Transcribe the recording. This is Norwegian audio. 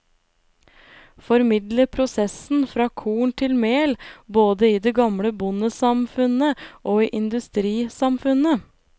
Formidle prosessen fra korn til mel, både i det gamle bondesamfunnet og i industrisamfunnet.